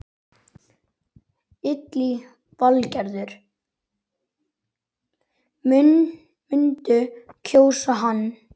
Lillý Valgerður: Muntu kjósa hann?